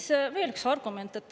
Ja veel üks argument.